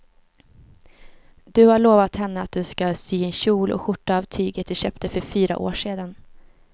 Du har lovat henne att du ska sy en kjol och skjorta av tyget du köpte för fyra år sedan.